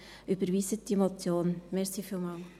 Überweisen Sie diese Motion.